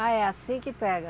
Ah, é assim que pega?